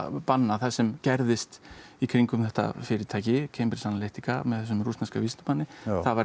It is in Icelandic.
bannað það sem gerðist í kringum þetta fyrirtæki CA með þessum rússneska vísindamanni það